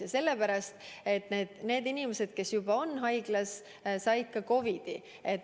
Ja sellepärast, et need inimesed, kes juba haiglas on, said ka COVID-i.